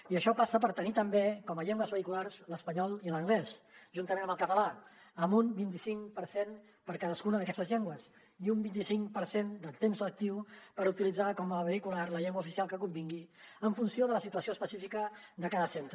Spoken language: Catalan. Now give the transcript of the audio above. i això passa per tenir també com a llengües vehiculars l’espanyol i l’anglès juntament amb el català amb un vint i cinc per cent per a cadascuna d’aquestes llengües i un vint i cinc per cent de temps lectiu per utilitzar com a vehicular la llengua oficial que convingui en funció de la situació específica de cada centre